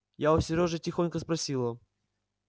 я у серёжи тихонько спросила